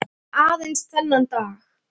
Aðeins þennan eina dag!